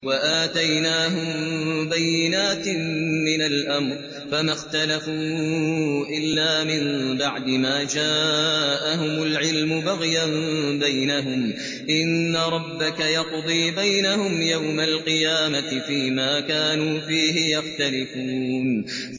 وَآتَيْنَاهُم بَيِّنَاتٍ مِّنَ الْأَمْرِ ۖ فَمَا اخْتَلَفُوا إِلَّا مِن بَعْدِ مَا جَاءَهُمُ الْعِلْمُ بَغْيًا بَيْنَهُمْ ۚ إِنَّ رَبَّكَ يَقْضِي بَيْنَهُمْ يَوْمَ الْقِيَامَةِ فِيمَا كَانُوا فِيهِ يَخْتَلِفُونَ